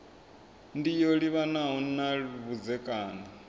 ndi yo livhanaho na vhudzekani